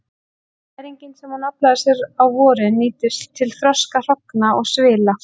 Næringin sem hún aflaði sér á vorin nýtist til þroska hrogna og svila.